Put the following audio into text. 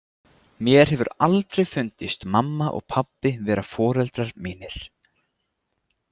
Mér hefur aldrei fundist mamma og pabbi vera foreldrar mínir.